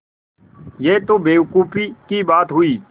यह तो बेवकूफ़ी की बात हुई